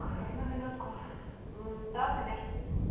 одну на минутку да конечно